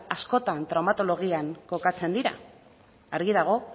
askotan traumatologian kokatzen dira argi dago